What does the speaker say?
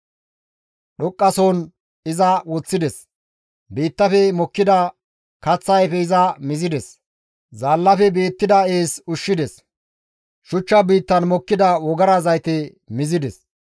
«Dhoqqa sohon iza woththides; biittafe mokkida kaththa ayfe iza mizides; zaallafe beettida ees ushshides; shuchcha biittan mokkida wogara zayte mizides.